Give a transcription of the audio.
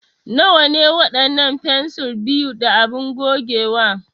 Nawa ne waɗannan fensir 2 da abin gogewa?